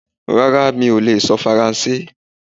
Rárá mi ò lè sọ Faransé.